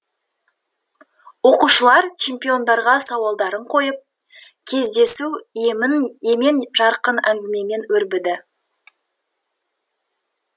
оқушылар чемпиондарға сауалдарын қойып кездесу емен жарқын әңгімемен өрбіді